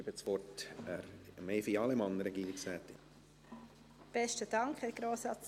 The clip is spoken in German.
Ich gebe das Wort Regierungsrätin Evi Allemann.